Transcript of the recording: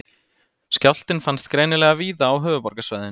Skjálftinn fannst greinilega víða á höfuðborgarsvæðinu